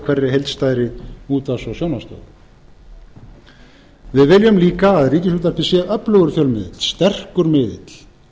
hverri heildstæðri útvarps og sjónvarpsstöð við viljum líka að ríkisútvarpið sé öflugur fjölmiðill sterkur miðill